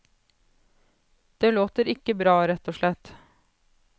Det låter ikke bra, rett og slett.